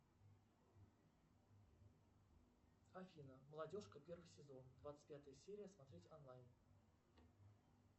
афина молодежка первый сезон двадцать пятая серия смотреть онлайн